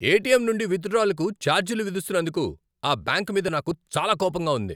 ATM నుండి విత్డ్రాలకు ఛార్జీలు విధిస్తున్నందుకు ఆ బ్యాంకు మీద నాకు చాలా కోపంగా ఉంది.